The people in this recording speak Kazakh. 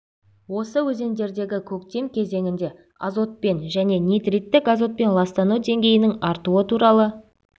осы өзендердегі көктем кезеңінде азотпен және нитриттік азотпен ластану деңгейінің артуы туралы